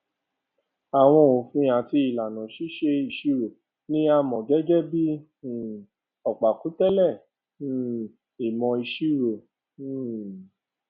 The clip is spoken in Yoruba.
àwọn òfin àti ìlànà ṣíṣe ìṣirò ni a mọ gẹgẹ bí um ọpákùtẹlẹ um ìmọ ìṣirò um